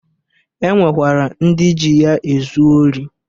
E nwekwara ndị ji ya ezu ori.